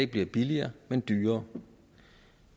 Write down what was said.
bliver billigere men dyrere